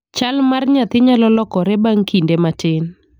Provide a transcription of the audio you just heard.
Chal mar nyathi nyalo lokore bang' kinde matin.